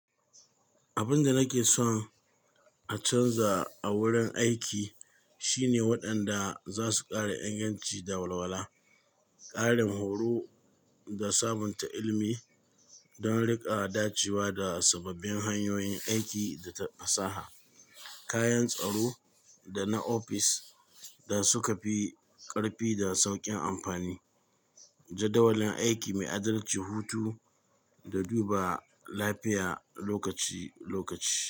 Abin da nake son a canza a wurin aiki shine waɗanda za su ƙara inganci da walwala, ƙarin horo da sabunta ilimi don riƙa dacewa da sababbin hanyoyin aiki da fasaha, kayan tsaro da na ofis da suka fi ƙarfi da sauƙin amfani, jadawalin aiki mai adalci, hutu da duba lafiya lokaci-lokaci.